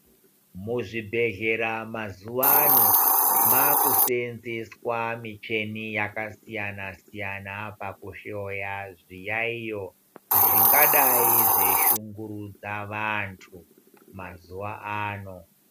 Muzvibhedhlera mazuwa ano makushevendeswa muchini yakasiyana siyana pakuhloya zviyaiyo zvingadai zveishungurudza antu mazuwa ano .